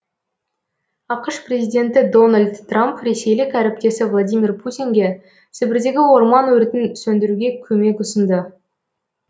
ақш президенті дональд трамп ресейлік әріптесі владимир путинге сібірдегі орман өртін сөндіруге көмек ұсынды